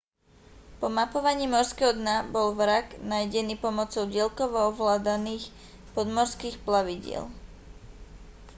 po mapovaní morského dna bol vrak nájdený pomocou diaľkovo ovládaných podmorských plavidiel